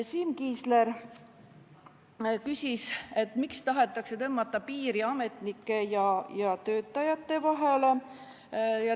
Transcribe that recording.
Siim Kiisler küsis, miks tahetakse tõmmata piiri ametnike ja töötajate vahele.